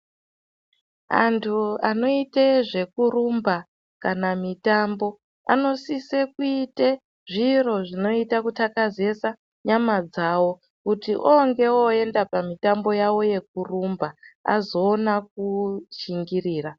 Antu anoite zvekurumba kana mitambo, anosise kuite zviro zvinoite kuthakazesa nyama dzavo kuti oonge oenda pamitambo yavo yekurumba, azoona kushingirira.